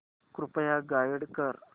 कृपया गाईड कर